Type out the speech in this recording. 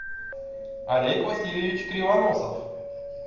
олег васильевич кривоносов